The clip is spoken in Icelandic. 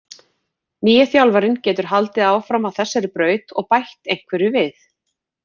Nýi þjálfarinn getur haldið áfram á þessari braut og bætt einhverju við.